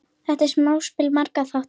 Þetta er samspil margra þátta.